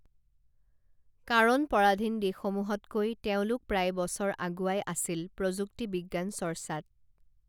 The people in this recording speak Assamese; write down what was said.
কাৰণ পৰাধীন দেশসমূহতকৈ তেওঁলোক প্ৰায় বছৰ আগুৱাই আছিল প্ৰযুক্তি বিজ্ঞান চৰ্চাত